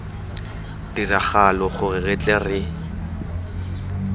tiragalo gore re tle re